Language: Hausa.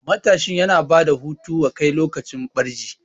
Matashi yana bada hutu wa kai lokacin barci